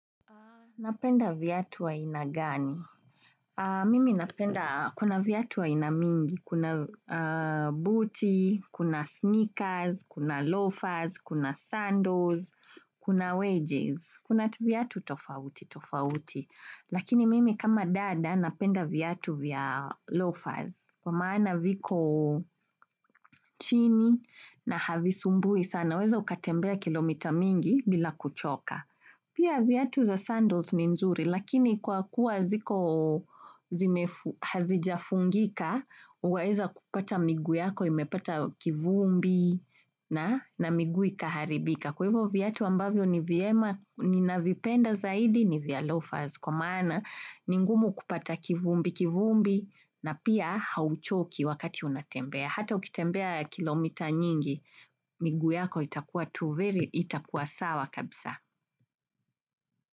Napenda viatu wa ina gani? Mimi napenda, kuna viatu wa ina mingi, kuna booty, kuna sneakers, kuna loafers, kuna sandals, kuna wages, kuna viatu tofauti, tofauti. Lakini mimi kama dada, napenda viatu via loafers, kwa maana viko chini na havi sumbui sana, weza ukatembea kilomita mingi bila kuchoka. Pia viatu za sandals ni nzuri, lakini kwa kuwa ziko hazijafungika, uwaeza kupata migu yako, imepata kivumbi na migu ikaharibika. Kwa hivyo viatu ambavyo ni na vipenda zaidi ni via lofas. Kwa maana, ni ngumu kupata kivumbi, kivumbi na pia hauchoki wakati unatembea. Hata ukitembea kilomita nyingi, migu yako itakuwa tuveri, itakuwa sawa kabisa.